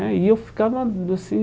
Né E eu ficava assim...